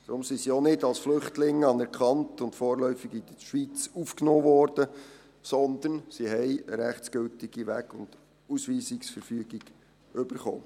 Deshalb sind sie auch nicht als Flüchtlinge anerkannt und vorläufig in der Schweiz aufgenommen worden, sondern sie haben eine rechtsgültige Weg- und Ausweisungsverfügung erhalten.